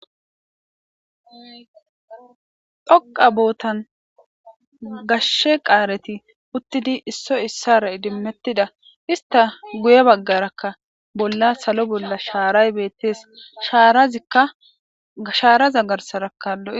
Dhoqa bootan gashshe qaareti uttidi isso issara idimmettida.hista guye baggarakka bolla salo bolla shaaray beettees. ashaaraza garsarakka lo7i.